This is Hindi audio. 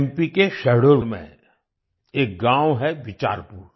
एमपी के शहडोल में एक गांव है बिचारपुर